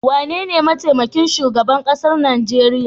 Wanene mataimakin shugaban kasa Najeriya.